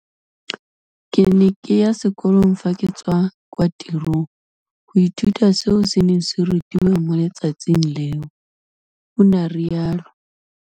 Ke ne ke ya sekolong fa ke tswa kwa tirong go ithuta seo se neng se rutiwa mo letsatsing leo, o ne a rialo.